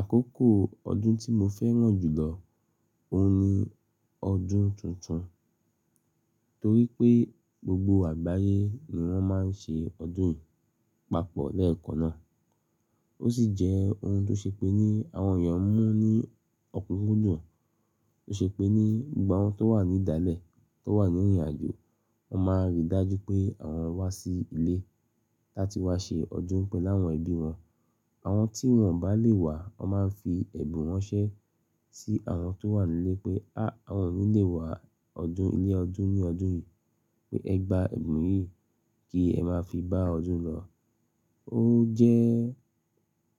Àkókò ọdún tí mo fẹ́ràn jù lọ ó hun ní ọdún tuntun, torí pé gbogbo àgbáyé ni wọ́n máa ń ṣe ọdún yìí papọ̀ lẹ́ẹ̀kan náà. Ó sì jẹ́ ohun tó ṣe pé ní àwọn èèyàn mu ní ọ̀kunkun dun tó ṣe pé ní gbogbo àwọn tó wà ní ìdálẹ̀ tó wà ní ìrìnàjò, wọ́n máa rí dájú pé àwọn wá sí ilé láti wá ṣe ọdún pẹ̀lú àwọn ẹbí wọn. Àwọn tí wọ́n bá lè wá, wọ́n máa ń fi ẹ̀bùn wọn ran sí àwọn tó wà nílé pé "áh àwọn ò ní lè wá ọdún ilé ọdún ní ọdún yìí pé ẹ gba ẹ̀bùn yìí kí ẹ máa fi bá ọdún lọ". Ó jẹ́